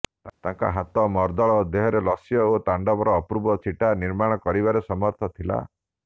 ତାଙ୍କ ହାତ ମର୍ଦ୍ଦଳ ଦେହରେ ଲାସ୍ୟ ଓ ତାଣ୍ଡବର ଅପୂର୍ବ ଛଟା ନିର୍ମାଣ କରିବାରେ ସମର୍ଥ ଥିଲା